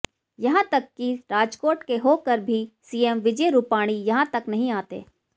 यहां तक कि राजकोट के हो कर भी सीएम विजय रूपाणी तक यहां नहीं आते